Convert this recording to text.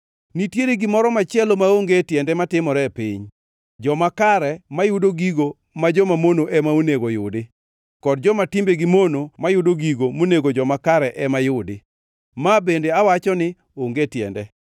Nitiere gimoro machielo maonge tiende matimore e piny: joma kare mayudo gigo ma joma mono ema onego yudi, kod joma timbegi mono mayudo gigo monego joma kare ema yudi. Ma bende, awacho, ni onge tiende.